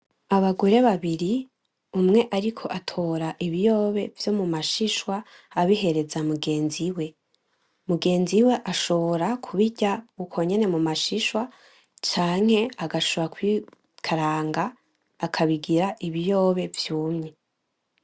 Abagore babiri ,umwe ariko atora ibiyobe vyo mumashishwa, abihereza mugenzi we; mugenzi we ashobora kubirya uko nyene mumashishwa ,canke agashobora kubikaranga akabigira Ibiyobe vyumye .